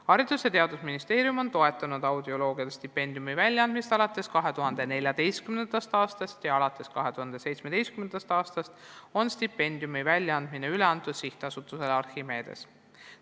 Haridus- ja Teadusministeerium on toetanud audioloogide stipendiumi väljaandmist alates 2014. aastast, alates 2017. aastast on stipendiumi väljaandmine üle antud SA-le Archimedes.